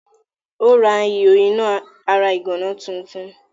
Ó rà ihò iná ara ìgànná tuntun.